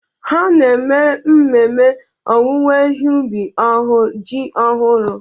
Ha na-eme mmemme owuwe ihe ubi ji ọhụrụ.